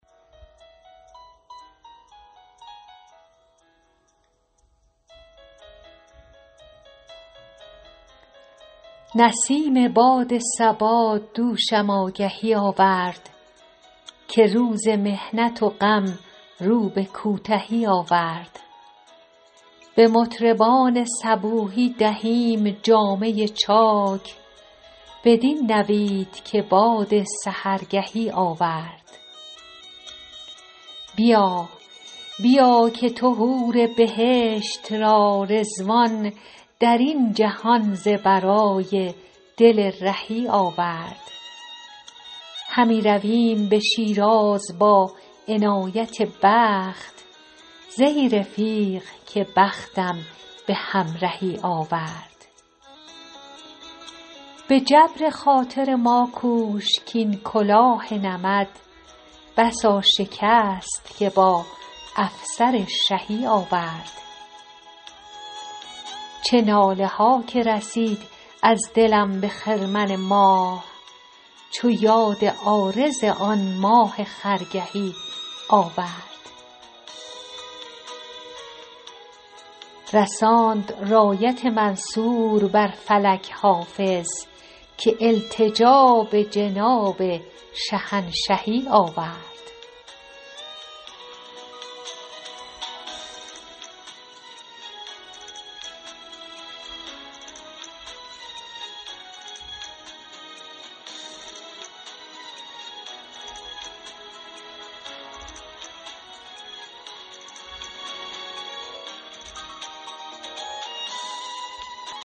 برید باد صبا دوشم آگهی آورد که روز محنت و غم رو به کوتهی آورد به مطربان صبوحی دهیم جامه چاک بدین نوید که باد سحرگهی آورد بیا بیا که تو حور بهشت را رضوان در این جهان ز برای دل رهی آورد همی رویم به شیراز با عنایت دوست زهی رفیق که بختم به همرهی آورد به جبر خاطر ما کوش کـ این کلاه نمد بسا شکست که با افسر شهی آورد چه ناله ها که رسید از دلم به خرمن ماه چو یاد عارض آن ماه خرگهی آورد رساند رایت منصور بر فلک حافظ که التجا به جناب شهنشهی آورد